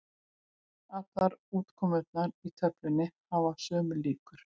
Allar útkomurnar í töflunni hafa sömu líkur.